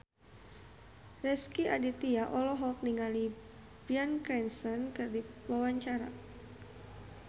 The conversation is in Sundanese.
Rezky Aditya olohok ningali Bryan Cranston keur diwawancara